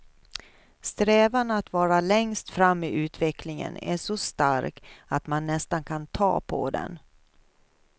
Strävan att vara längst fram i utvecklingen är så stark att man nästan kan ta på den.